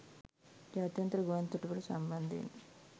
ජාත්‍යන්තර ගුවන් තොටු‍පොළ සම්බන්ධයෙන්